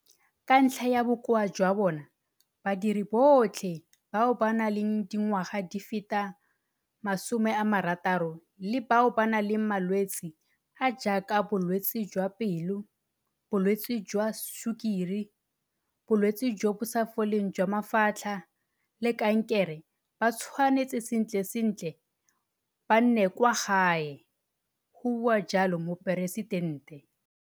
Ka ntlha ya bokoa jwa bona, badiri botlhe bao ba nang le dingwaga di feta 60 le bao ba nang le malwetse a a jaaka bolwetse jwa pelo, bolwetse jwa sukiri, bolwetse jo bo sa foleng jwa mafatlha le kankere ba tshwanetse sentle sentle ba nne kwa gae, go bua jalo Moporesitente.